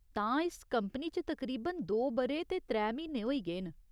तां, इस कंपनी च तकरीबन दो ब'रे ते त्रै म्हीने होई गे न ?